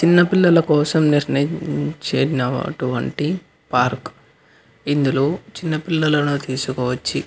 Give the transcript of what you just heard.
చిన్న పిల్లల్లా కోసం నిర్మిచిన పార్క్ ఇందులో చిన్న పిల్లలు వచ్చి --